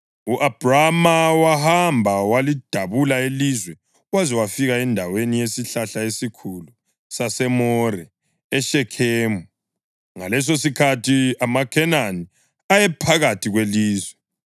U-Abhrama wahamba walidabula ilizwe waze wafika endaweni yesihlahla esikhulu saseMore eShekhemu. Ngalesosikhathi amaKhenani ayephakathi kwelizwe.